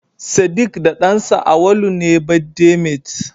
sediq da dansa Awaulu ne birthday mate